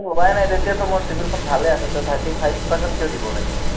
লোৱাই নাই, তেতিয়াতো মোৰ CIBIL খন ভালেই আছে, তেতিয়া thirty five percent কিয় দিব লাগে?